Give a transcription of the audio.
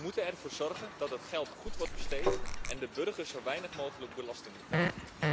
We moeten ervoor zorgen dat het geld goed wordt besteed en de burger zo weinig mogelijk belasting betaalt.